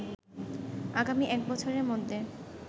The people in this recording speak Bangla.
আগামী এক বছরের মধ্যে